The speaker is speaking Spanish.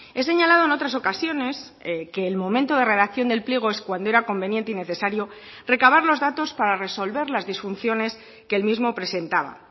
he señalado en otras ocasiones que el momento de redacción del pliego es cuando era conveniente y necesario recabar los datos para resolver las disfunciones que el mismo presentaba